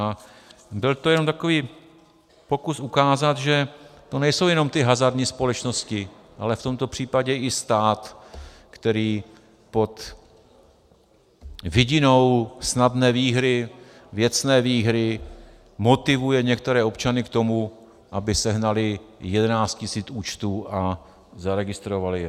A byl to jenom takový pokus ukázat, že to nejsou jenom ty hazardní společnosti, ale v tomto případě i stát, který pod vidinou snadné výhry, věcné výhry, motivuje některé občany k tomu, aby sehnali 11 tisíc účtů a zaregistrovali je.